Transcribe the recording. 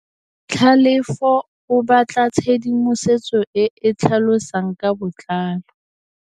Tlhalefô o batla tshedimosetsô e e tlhalosang ka botlalô.